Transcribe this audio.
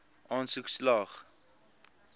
aansoek slaag